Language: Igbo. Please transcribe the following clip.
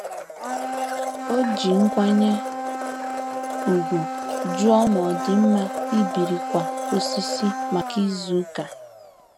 O ji nkwanye ùgwù jụọ ma ọ dị mma ibiri ịkwa osisi maka izu ụka.